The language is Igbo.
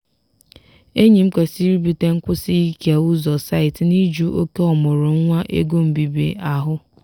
enyi m kwesịrị ibute nkwusi ike ụzọ site n'ijụ oke ọmụrụ nwa ego mbibi ahụ.